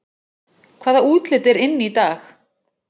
Hvaða útlit er inn í dag